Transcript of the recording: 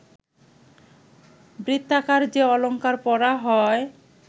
বৃত্তাকার যে অলঙ্কার পরা হয়